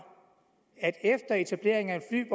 efter etableringen af en